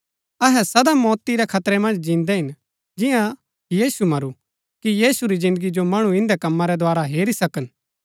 अहै सदा मौती रै खतरै मन्ज जिन्दै हिन जियां यीशु मरू कि यीशु री जिन्दगी जो मणु इन्दै कमा रै द्धारा हेरी सकन